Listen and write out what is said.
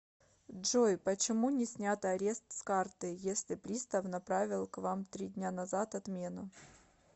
джой почему не снят арест с карты если пристав направил к вам три дня назад отмену